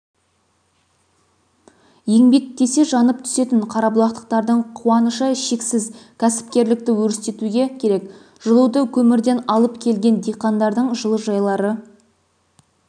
еңбек десе жанып түсетін қарабұлақтықтардың қуанышы шексіз кәсіпкерлікті өрістетуге керек жылуды көмірден алып келген диқандардың жылыжайлары